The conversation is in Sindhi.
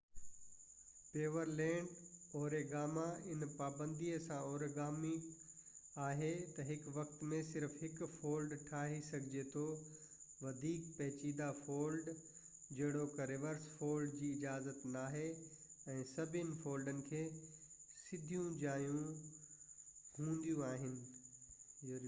پيورلينڊ اوريگامي هن پابندي سان اوريگامي آهي تہ هڪ وقت ۾ صرف هڪ فولڊ ٺاهي سگهجي ٿو وڌيڪ پيچيدہ فولڊ جهڙوڪ رورس فولڊ جي اجازت ناهي ۽ سڀني فولڊن کي سڌيون جايون هونديون آهن